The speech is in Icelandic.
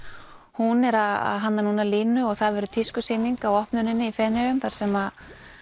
hún er að hanna núna línu og það verður tískusýning á opnuninni í Feneyjum þar sem